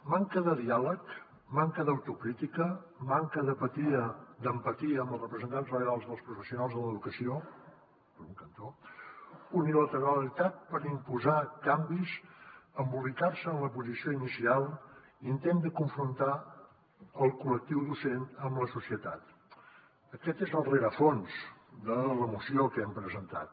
manca de diàleg manca d’autocrítica manca d’empatia amb els representants legals dels professionals de l’educació per un cantó unilateralitat per imposar canvis embolicar se en la posició inicial intent de confrontar el col·lectiu docent amb la societat aquest és el rerefons de la moció que hem presentat